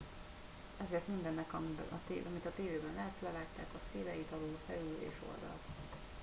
ezért mindennek amit a tévében látsz levágták a széleit alul felül és oldalt